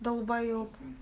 далбоеб